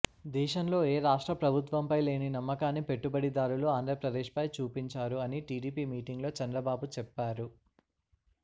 దేశంలో ఏ రాష్ట్ర ప్రభుత్వంపై లేని నమ్మకాన్ని పెట్టుబడిదారులు ఆంధ్రప్రదేశ్పై చూపించారు అని టిడిపి మీటింగ్ లో చంద్రబాబు చెప్పారు